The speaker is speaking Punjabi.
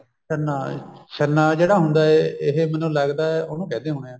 ਛੰਨਾ ਛੰਨਾ ਜਿਹੜਾ ਹੁੰਦਾ ਐ ਇਹ ਮੈਨੂੰ ਲੱਗਦਾ ਉਹਨੂੰ ਕਹਿੰਦੇ ਹੋਣੇ ਆ